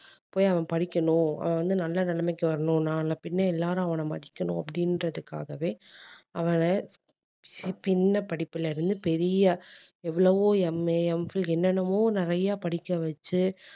போய் அவன் படிக்கணும் அவன் வந்து நல்ல நிலைமைக்கு வரணும் நாளை பின்ன எல்லாரும் அவன மதிக்கணும் அப்படின்றதுக்காகவே படிப்புல இருந்து பெரிய எவ்வளவோ MAMphil என்னென்னமோ நிறைய படிக்க வச்சு